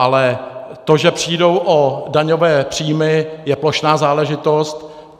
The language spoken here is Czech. Ale to, že přijdou o daňové příjmy, je plošná záležitost.